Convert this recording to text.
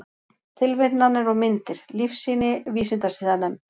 Tilvitnanir og myndir: Lífsýni Vísindasiðanefnd.